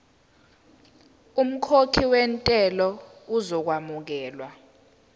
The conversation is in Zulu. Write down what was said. umkhokhi wentela uzokwamukelwa